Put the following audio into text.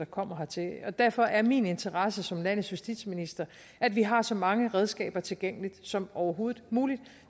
kommer hertil og derfor er min interesse som landets justitsminister at vi har så mange redskaber tilgængelige som overhovedet muligt og